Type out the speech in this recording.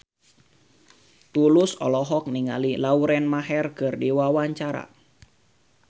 Tulus olohok ningali Lauren Maher keur diwawancara